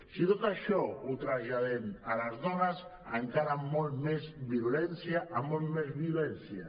si tot això ho traslladem a les dones encara amb molta més virulència amb molta més violència